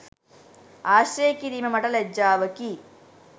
ආශ්‍රය කිරීම මට ලැජ්ජාවකි